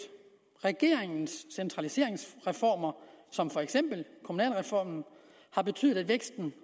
regeringens centraliseringsreformer som for eksempel kommunalreformen har betydet at væksten